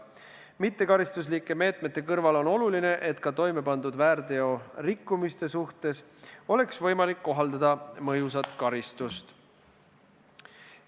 Mittekaristuslike meetmete kõrval on oluline, et ka toimepandud väärteorikkumiste suhtes oleks võimalik kohaldada mõjusat karistust.